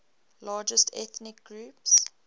largest ethnic groups